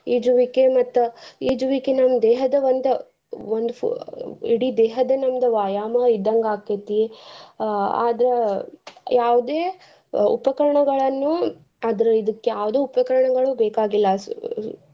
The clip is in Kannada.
ಈಜುವಿಕೆ ಮತ್ತ್ ಈಜುವಿಕೆ ನಮ್ ದೇಹದ ಒಂದ್~ ಒಂದು ಫೋ~ ಇಡೀ ದೇಹದ್ದ ನಮ್ದ ವ್ಯಾಯಾಮ ಇದ್ದಂಗ್ ಆಕೆತಿ ಆ ಆದ್ರ ಯಾವ್ದೇ ಉಪಕರ್ಣಗಳನ್ನು ಆದ್ರ ಇದಕ್ಕ ಯಾವ್ದ ಉಪಕರ್ಣಗಳು ಬೇಕಾಗಿಲ್ಲ.